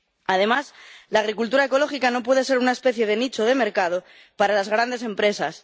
Además, la agricultura ecológica no puede ser una especie de nicho de mercado para las grandes empresas.